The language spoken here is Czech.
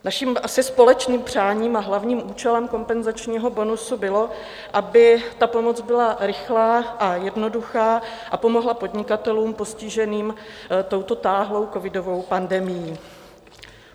Naším asi společným přáním a hlavním účelem kompenzačního bonusu bylo, aby ta pomoc byla rychlá a jednoduchá a pomohla podnikatelům postiženým touto táhlou covidovou pandemií.